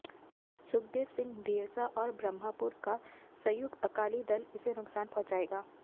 सुखदेव सिंह ढींडसा और ब्रह्मपुरा का संयुक्त अकाली दल इसे नुक्सान पहुंचाएगा